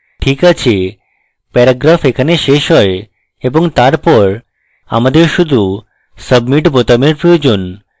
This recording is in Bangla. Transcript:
ঠিক আছেপ্যারাগ্রাফ এখানে শেষ হয় এবং তারপর আমাদের শুধু সাবমিট বোতামের প্রয়োজন